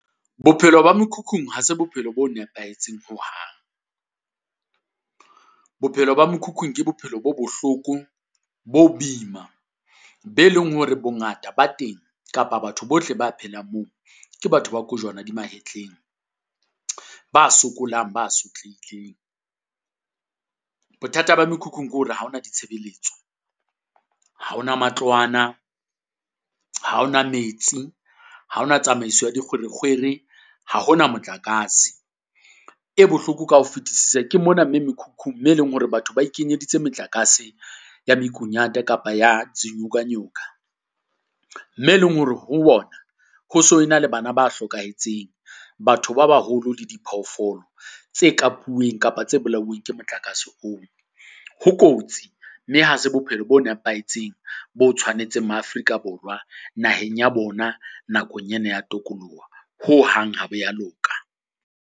Bophelo ba mekhukhung ha se bophelo bo nepahetseng hohang. Bophelo ba mokhukhung ke bophelo bo bohloko, bo boima be leng hore bongata ba teng kapa batho bohle ba phelang moo, ke batho ba kojwana di mahetleng. Ba sokolang, ba sotlehileng. Bothata ba mekhukhung ke hore ha ho na ditshebeletso, ha ho na matlwana, ha ho na metsi, ha ho na tsamaiso ya dikgwerekgwere, ha ho na motlakase. E bohloko ka ho fetisisa ke mona me mekhukhung me e leng hore batho ba ikenyeditse motlakase ya mokunyata kapa ya zinyokanyoka. Me e leng hore ho ona ho so e na le bana ba hlokahetseng. Batho ba baholo le diphoofolo tse kapuweng kapa tse bolauweng ke motlakase oo. Ho kotsi mme ha se bophelo bo nepahetseng bo tshwanetseng ma Afrika Borwa naheng ya bona. Nakong ena ya tokoloho hohang ha bo ya loka.